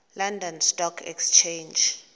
london stock exchange